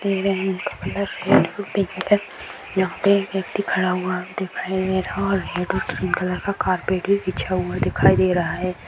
यहां पर व्यक्ति खड़ा हुआ दिखाइ दे रहा और रेड और क्रीम कलर का कार्पेट भी बिछा हुआ दिखाई दे रहा है।